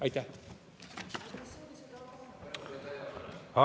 Aitäh!